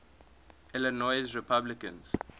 illinois republicans